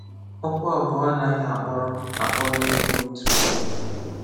Ụkwụ abụọ anaghị akpọrọ akpọrọ egwu n’otu oge.